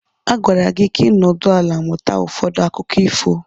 A gwara gị ka ị nọdụ ala mụta ụfọdụ akụkọ ifo.